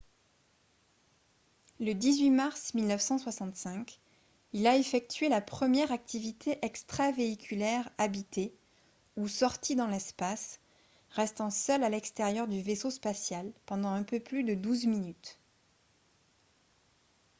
le 18 mars 1965 il a effectué la première activité extravéhiculaire habitée ou « sortie dans l'espace » restant seul à l'extérieur du vaisseau spatial pendant un peu plus de douze minutes